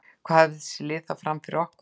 Hvað hafa þessi lið þá fram yfir okkur?